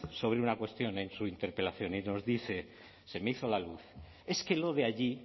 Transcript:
sobre una cuestión en su interpelación y nos dice se me hizo la luz es que lo de allí